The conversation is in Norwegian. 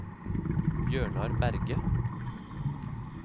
Bjørnar Berge